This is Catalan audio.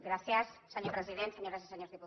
gràcies senyor president senyores i senyors diputats